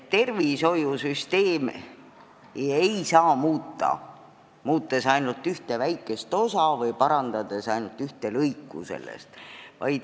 Tervishoiusüsteemi ei saa muuta, muutes seal ainult ühte väikest osa või parandades ainult ühte lõiku sellest.